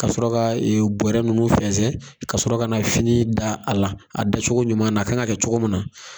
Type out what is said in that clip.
Kasɔrɔ ka bɔrɛ ninnu fɛnsɛn kasɔrɔ ka na fini da a la a dacogo ɲuman na kan ka kɛ cogo min na